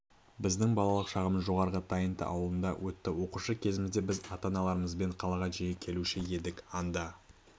біздің балалық шағымыз жоғарғы тайынты ауылында өтті оқушы кезімізде біз ата-аналарымызбен қалаға жиі келуші едік анда